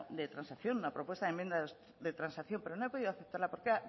de transacción una propuesta de enmienda de transacción pero no he podido aceptarla porque era